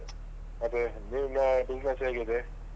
ಮತ್ತೆ ನಿಮ್ಮ business ಹೇಗಿದೆ?